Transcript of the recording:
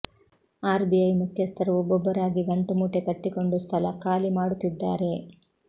RBI ಮುಖ್ಯಸ್ಥರು ಒಬ್ಬೊಬ್ಬರಾಗಿ ಗಂಟು ಮೂಟೆ ಕಟ್ಟಿಕೊಂಡು ಸ್ಥಳ ಖಾಲಿ ಮಾಡುತ್ತಿದ್ದಾರೆ